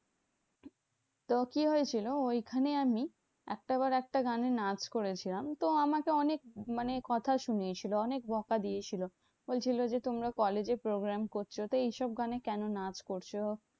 তো কি হয়েছিল? ঐখানে আমি একটা বার একটা গানে নাচ করেছিলাম। তো আমাকে অনেক মানে কথা শুনিয়েছিল। অনেক বকা দিয়েছিলো। বলছিলো যে, তোমরা college এ program করছো। তো এইসব গানে কেন নাচ করছো?